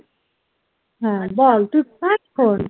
হ্যাঁ বল তোর কি খবর?